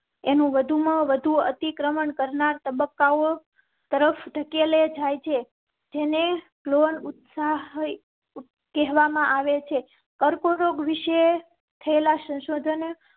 એનો વધુ માં વધુ અતિક્રમણ કર ના તબક્કાઓ તરફ ધકેલે જાય છે. જેને કહેવામાં આવે છે કર્કરોગ વિશે થયેલા સંશોધન